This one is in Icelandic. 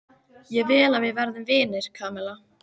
Ég vil að við verðum vinir, Kamilla.